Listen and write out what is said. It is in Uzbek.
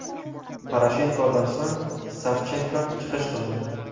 Poroshenkodan so‘ng Savchenko chiqish qildi.